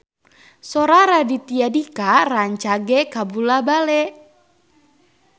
Sora Raditya Dika rancage kabula-bale